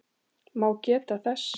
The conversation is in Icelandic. má geta þess